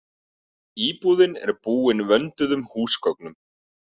Íbúðin er búin vönduðum húsgögnum